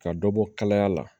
Ka dɔ bɔ kalaya la